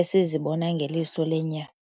esizibona ngeliso lenyama.